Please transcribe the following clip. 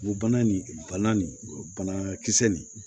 Bana nin bana nin banakisɛ nin